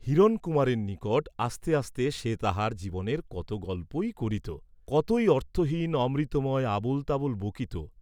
হিরণকুমারের নিকট আস্তে আস্তে সে তাহার জীবনের কত গল্পই করিত, কতই অর্থহীন অমৃতময় আবল তাবল বকিত।